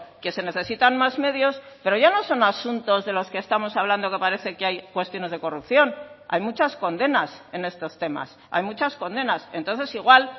que se necesitan más medios pero ya no son asuntos de los que estamos hablando que parece que hay cuestiones de corrupción hay muchas condenas en estos temas hay muchas condenas entonces igual